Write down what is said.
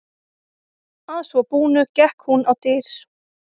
Að svo búnu gekk hún á dyr.